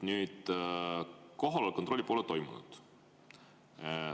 Kohaloleku kontrolli pole toimunud.